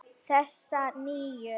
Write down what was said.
Þessa nýju.